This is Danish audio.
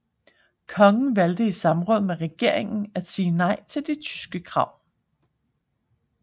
Kongen valgte i samråd med regeringen at sige nej til de tyske krav